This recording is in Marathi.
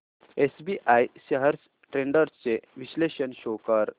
एसबीआय शेअर्स ट्रेंड्स चे विश्लेषण शो कर